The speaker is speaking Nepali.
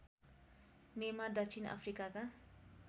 मेमा दक्षिण अफ्रिकाका